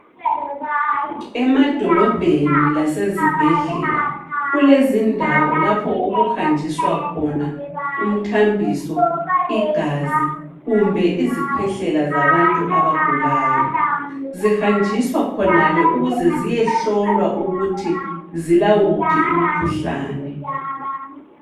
Emadolobheni lasezibhedlela, kulezindawo lapho okuhanjiswa khona umthambiso ,igazi, kumbe izkhwehlela zabantu zabagulayo. Zihanjiswa khonale ukuze ziye hlolwa ukuthi zilawuphi umkhuhlane.